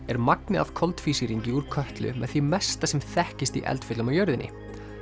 er magnið af koltvísýringi úr Kötlu með því mesta sem þekkist í eldfjöllum á jörðinni